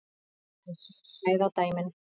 En hér hræða dæmin.